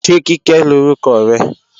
Ṣé Kíkẹ́ lórúkọ rẹ?